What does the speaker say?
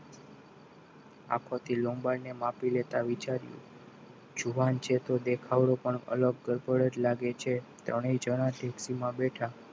આંખોથી લંબાડને માપી લેતા વિચાર્યું જુવાન છે તો દેખાવડો પણ અલગ ગડબડ જ લાગે છે ત્રણેય જણા જીપ્સીમાં બેઠા